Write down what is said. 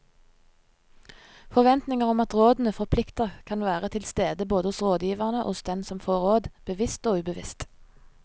Forventninger om at rådene forplikter kan være til stede både hos rådgiverne og hos den som får råd, bevisst og ubevisst.